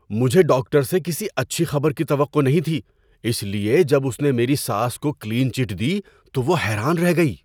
مجھے ڈاکٹر سے کسی اچھی خبر کی توقع نہیں تھی، اس لیے جب اس نے میری ساس کو کلین چٹ دی تو وہ حیران رہ گئی۔